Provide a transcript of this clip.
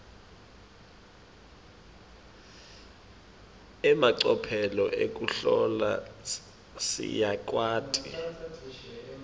emacophelo ekuhlola siyakwati